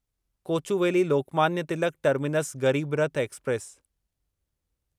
Kochuveli Lokmanya Tilak terminus Garib Rath express